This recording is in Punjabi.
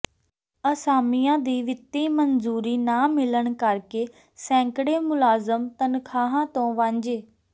ਅਸਾਮੀਆਂ ਦੀ ਵਿੱਤੀ ਮਨਜ਼ੂਰੀ ਨਾ ਮਿਲਣ ਕਰਕੇ ਸੈਂਕੜੇ ਮੁਲਾਜ਼ਮ ਤਨਖ਼ਾਹਾਂ ਤੋਂ ਵਾਂਝੇ